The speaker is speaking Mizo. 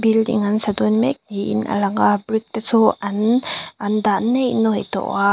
building an sa dawn mek niin a lang a brick te chu an an dah nei nuai tawh a.